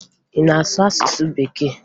Ị na-asụ asụsụ Bekee?